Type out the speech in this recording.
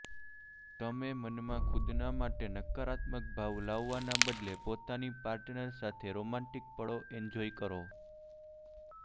તમે મનમાં ખુદના માટે નકારાત્મક ભાવ લાવવાના બદલે પોતાની પાર્ટનર સાથે રોમેન્ટિક પળો એન્જોય કરો